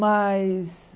Mas...